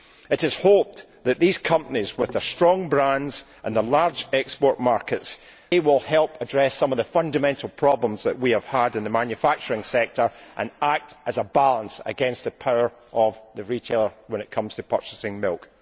It is hoped that these companies, with their strong brands and their large export markets, will help address some of the fundamental problems that we have had in the manufacturing sector and act as a balance against the power of the retailer when it comes to purchasing milk.